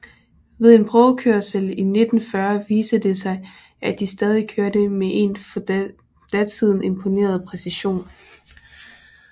Ved en prøvekørsel i 1940 viste det sig at de stadig kørte med en for datiden imponerende præcision